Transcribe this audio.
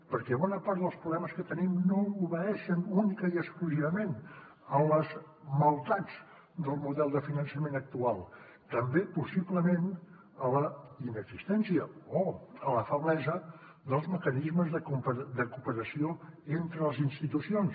perquè bona part dels problemes que tenim no obeeixen únicament i exclusivament a les maldats del model de finançament actual sinó també possiblement a la inexistència o a la feblesa dels mecanismes de cooperació entre les institucions